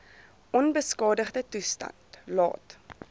onbeskadigde toestand laat